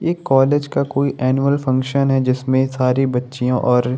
ये कॉलेज का कोई एनुअल फंक्शन है जिसमें सारी बच्चिया और --